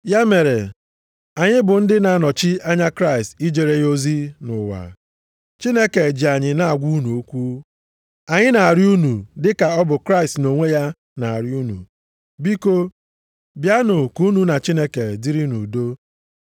Ya mere, anyị bụ ndị na-anọchi anya Kraịst ijere ya ozi nʼụwa. Chineke ji anyị na-agwa unu okwu. Anyị na-arịọ unu dịka ọ bụ Kraịst nʼonwe ya na-arịọ unu. Biko, bịanụ ka unu na Chineke dịrị nʼudo.